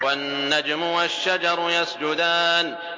وَالنَّجْمُ وَالشَّجَرُ يَسْجُدَانِ